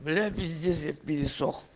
бля пиздец я перешёл